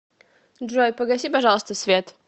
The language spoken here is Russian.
джой погаси пожалуйста свет